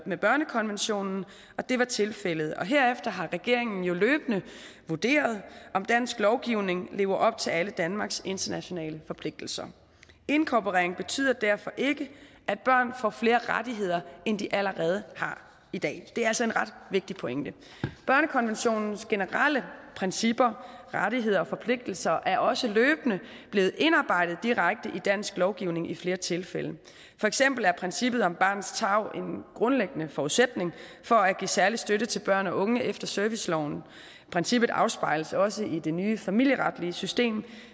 med børnekonventionen og det var tilfældet herefter har regeringen jo løbende vurderet om dansk lovgivning lever op til alle danmarks internationale forpligtelser inkorporeringen betyder derfor ikke at børn får flere rettigheder end de allerede har i dag det er altså en ret vigtig pointe børnekonventionens generelle principper rettigheder og forpligtelser er også løbende blevet indarbejdet direkte i dansk lovgivning i flere tilfælde for eksempel er princippet om barnets tarv en grundlæggende forudsætning for at give særlig støtte til børn og unge efter serviceloven princippet afspejles også i det nye familieretlige system